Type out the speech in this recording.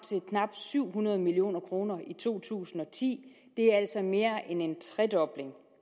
syv hundrede million kroner i to tusind og ti det er altså mere end en tredobling